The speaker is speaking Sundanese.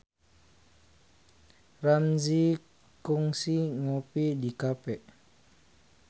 Ramzy kungsi ngopi di cafe